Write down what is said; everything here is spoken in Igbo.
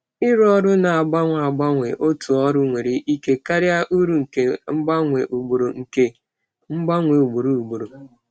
Arụmọrụ na-agbanwe agbanwe n'otu ọrụ nwere ike karịa uru nke mgbanwe ugboro ugboro.